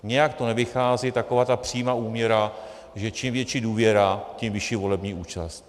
Nějak to nevychází, taková ta přímá úměra, že čím větší důvěra, tím vyšší volební účast.